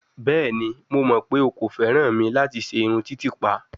Bẹẹni, Mo mọ pe o ko fẹran mi lati ṣe irun titipa